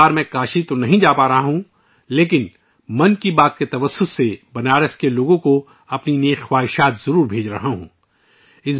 اس مرتبہ میں کاشی نہیں جا سکوں گا لیکن میں ' من کی بات ' کے ذریعے بنارس کے لوگوں کو اپنی نیک خواہشات ضرور بھیج رہا ہوں